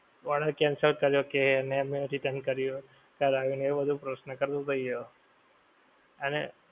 Order cancel કર્યો કે એને મે return કર્યો કરાવ્યો ને એવો બધો થઈ ગ્યો. અને